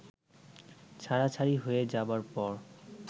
ছাড়াছাড়ি হয়ে যাবার পর